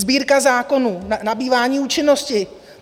Sbírka zákonů, nabývání účinnosti.